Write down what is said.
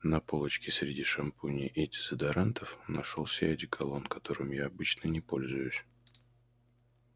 на полочке среди шампуней и дезодорантов нашёлся и одеколон которым я обычно не пользуюсь